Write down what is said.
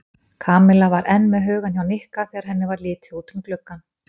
Kamilla var enn með hugann hjá Nikka þegar henni var litið út um gluggann.